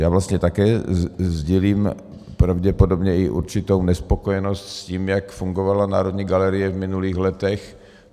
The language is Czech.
Já vlastně také sdělím pravděpodobně i určitou nespokojenost s tím, jak fungovala Národní galerie v minulých letech.